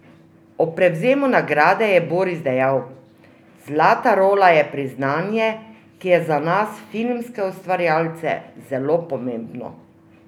Ob prevzemu nagrade je Boris dejal: "Zlata rola je priznanje, ki je za nas, filmske ustvarjalce, zelo pomembno.